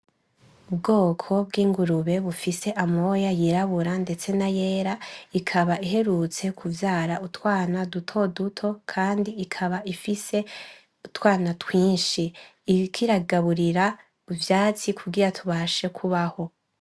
Ubwoko bw’ingurube bufise amoya yirabura ndetse n’ayera, ikaba iherutse kuvyara urwana dutoduto kandi ikaba ifise utwana twinshi iriko iragaburira utwatsi kugira tubashe kubaho.